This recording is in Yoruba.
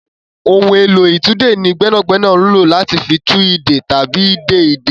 Ohun èlò ìtúdè ní gbẹ́nàgbẹ́nà ń lò láti fi tú ìdè tàbí de ìdè.